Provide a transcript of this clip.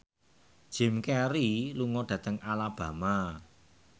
Jim Carey lunga dhateng Alabama